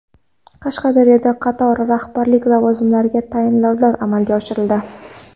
Qashqadaryoda qator rahbarlik lavozimlariga tayinlovlar amalga oshirildi.